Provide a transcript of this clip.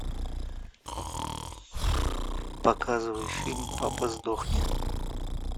показывай фильм папа сдохни